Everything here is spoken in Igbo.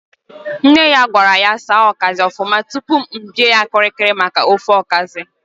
Nne ya gwara ya saa okazi ofuma tụpụ m bie ya kiri kiri maka ofe okazi